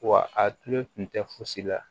Wa a tulu tun tɛ fosi la